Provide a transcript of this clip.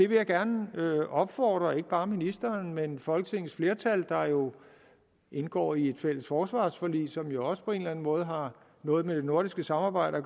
vil gerne opfordre ikke bare ministeren men folketingets flertal der jo indgår i et fælles forsvarsforlig som jo også på en eller anden måde har noget med det nordiske samarbejde